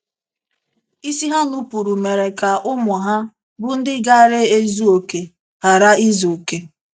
Isi ha nupụrụ mere ka ụmụ ha, bụ́ ndị gaara ezu okè, ghara izu okè.